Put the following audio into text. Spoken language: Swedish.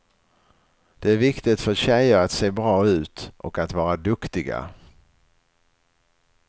Det är viktigt för tjejer att se bra ut och att vara duktiga.